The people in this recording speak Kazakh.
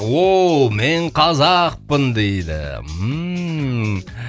ооо мен қазақпын дейді ммм